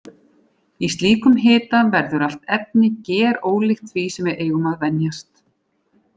Í slíkum hita verður allt efni gerólíkt því sem við eigum að venjast.